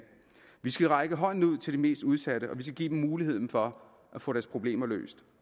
vi skal række hånden ud til de mest udsatte og vi skal give dem muligheden for at få deres problemer